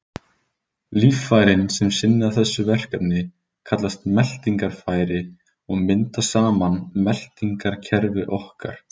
Líffærin sem sinna þessu verkefni kallast meltingarfæri og mynda saman meltingarkerfi okkar.